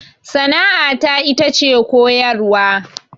Sana'a ta ita ce koyarwa